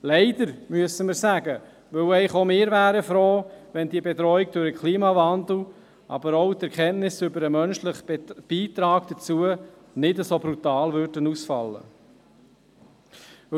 Leider, müssen wir sagen, denn auch wir wären froh, wenn die Bedrohung durch den Klimawandel, aber auch die Erkenntnis über den menschlichen Beitrag dazu, nicht so brutal ausfallen würden.